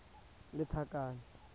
lethakane